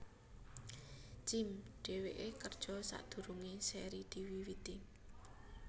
Jim Dheweke kerja sadurunge seri diwiwiti